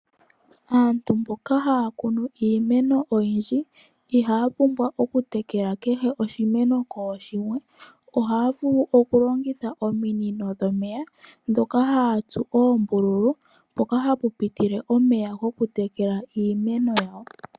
Aantu mboka haya kunu iimeno oyindji ihaya pumbwa okutekela kehe oshimeno kooshimwe ohaya vulu okulongitha ominous dhomeya ndhoka haya tsu oombululu mpoka hapu pitile omeya goku tekela iimeno yawo.